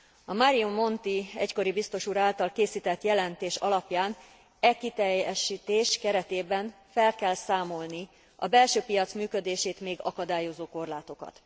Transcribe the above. A Mario Monti, egykori biztos úr által készített jelentés alapján e kiteljesítés keretében fel kell számolni a belső piac működését még akadályozó korlátokat.